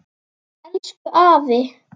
Elsku afi.